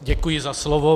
Děkuji za slovo.